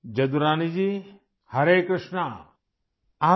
جدو رانی جی ، ہرے کرشنا!